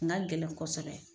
Ni ka gɛlɛn kosɛbɛ.